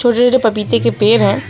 हरे हरे पपीते के पेड़ हैं।